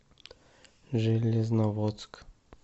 железноводск